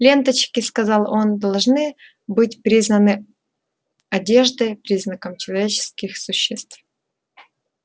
ленточки сказал он должны быть признаны одеждой признаком человеческих существ